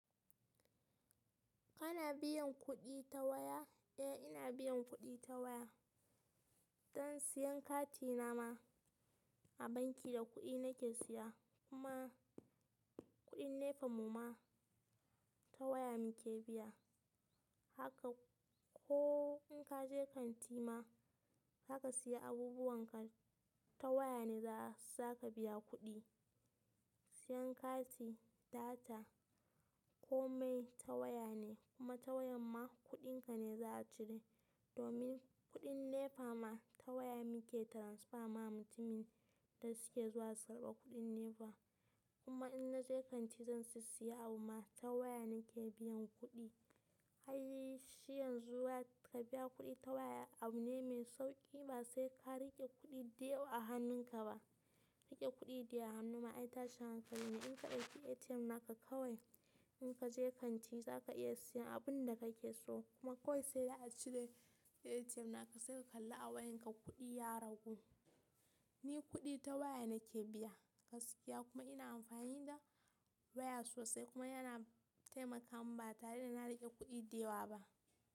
Kana biyan kuɗi ta waya? Eh ina biyan kuɗi ta waya, don siyan kati na ma a banki da kuɗi na ke siya kuma kuɗin NEPA mu ma ta waya mu ke biya. Haka ko in ka je kanti ma zaka siya abubuwan ka ta waya ne za ka biya kuɗi. Siyan kati, data ko mai ta waya ne kuma ta waya ma kuɗin ka ne za a cire. Domin kuɗin nefa ma ta waya mu ke transfer ma mutumin da suke zuwa su karɓa kuɗin nefa. Kuma in na je kanti zan si siya abu ma ta waya na ke biyan kuɗi. Hai shi yanzu wa ka biya kuɗi ta waya abu ne mai sauƙi ba sai ka riƙe kuɗi da yawa a hannun ka ba. Riƙe kuɗi da yawa a hannu ma ai ta shi hankali ne. In ka ɗauki ATM naka kawai in ka je kanti zaka iya siyan abun da kake so kuma kawai sai dai a cire ATM naka sai ka kalla a wayan ka kuɗi ya ragu. Ni kuɗi ta waya na ke biya gaskiya kuma ina amfani da waya sosai kuma yana taimaka mun ba tare da na riƙe kuɗi da yawa ba.